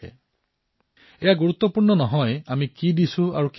এয়া গুৰুত্বপূৰ্ণ নহয় যে আমি কি দিছো আৰু কিমান দিছো